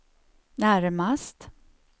närmast